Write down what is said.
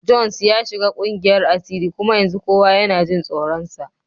Jones ya shiga kungiyar asiri kuma yanzu kowa yana jin tsoronsa.